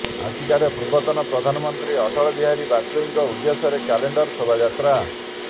ଆସିକାରେ ପୂର୍ବତନ ପ୍ରଧାନମନ୍ତ୍ରୀ ଅଟଳ ବିହାରୀ ବାଜପେୟୀଙ୍କ ଉଦ୍ଦେଶ୍ୟରେ କ୍ୟାଣ୍ଡେଲ ଶୋଭାଯାତ୍ରା